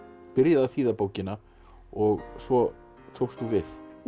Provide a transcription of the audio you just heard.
byrjaði að þýða bókina og svo tókst þú við